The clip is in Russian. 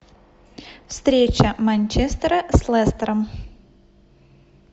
встреча манчестера с лестером